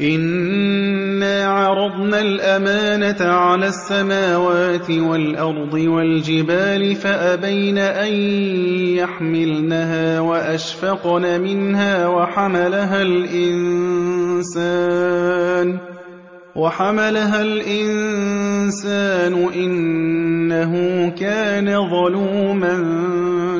إِنَّا عَرَضْنَا الْأَمَانَةَ عَلَى السَّمَاوَاتِ وَالْأَرْضِ وَالْجِبَالِ فَأَبَيْنَ أَن يَحْمِلْنَهَا وَأَشْفَقْنَ مِنْهَا وَحَمَلَهَا الْإِنسَانُ ۖ إِنَّهُ كَانَ ظَلُومًا